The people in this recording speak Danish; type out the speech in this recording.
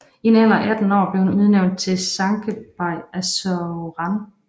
I en alder af 18 år blev han udnævnt til sancakbeyi af Saruhan